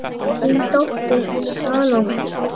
Þín dóttir, Salome.